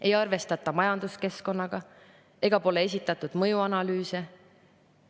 Ei arvestata majanduskeskkonnaga ega pole esitatud mõjuanalüüse.